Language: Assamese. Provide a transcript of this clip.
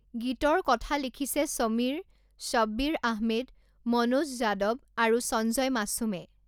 গীতৰ কথা লিখিছে সমীৰ, শ্বব্বিৰ আহমেদ, মনোজ যাদৱ আৰু সঞ্জয় মাছুমে।